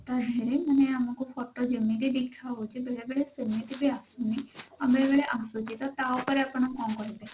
ମାନେ ଆମକୁ photo ଯେମିତି ଦେଖାହଉଛି ବେଳେ ବେଳେ ସେମିତି ବି ଆସୁନି ଆଉ ବେଳେବେଳେ ଆସୁଛି ତ ତା ଉପରେ ଆପଣ କଣ କହିବେ?